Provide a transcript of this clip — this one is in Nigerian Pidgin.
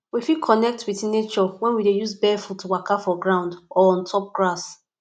we fit connect with nature when we dey use barefoot waka for ground or on top grass